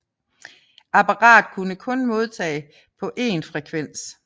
Apparatet kunne kun modtage på én frekvens